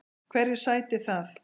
Hverju sætir það?